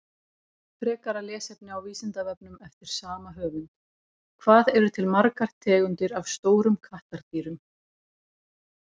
Frekara lesefni á Vísindavefnum eftir sama höfund: Hvað eru til margar tegundir af stórum kattardýrum?